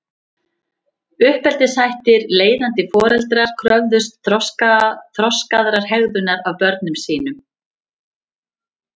Uppeldishættir Leiðandi foreldrar kröfðust þroskaðrar hegðunar af börnum sínum.